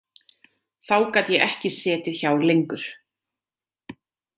Þá gat ég ekki setið hjá lengur.